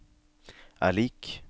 er lik